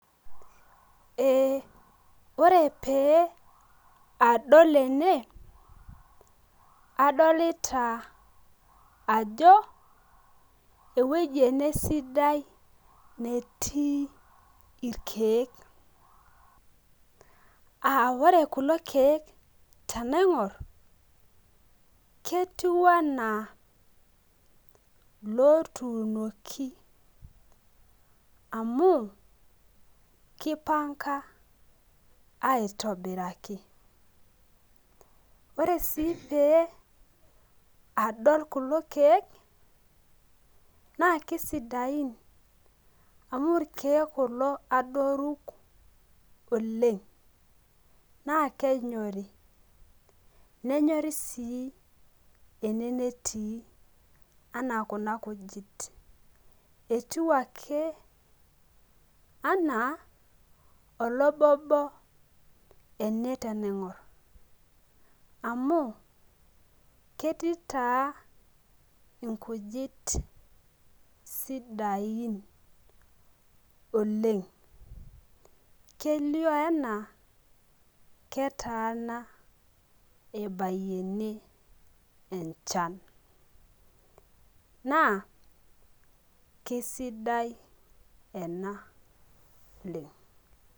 Ee ore pee adol ene, adolita ajo ewueji ene sidai netii irkeek, aa ore kulo keek tenaingor, ketiu anaa ilpotunoki. amu kipanga aitobiraki. ore sii pee adol kulo keek, naa kisidain amu irkeek kulo adoruk oleng naa kenyori. nenyoriu sii ene netii anaa Kuna kujit. etiu ake, anaa olobobi, ene tenaingor amu, ketii taa inkujit sidain oleng. kelio enaa ketaana ebayie ene enchan. naa kisidai ena oleng.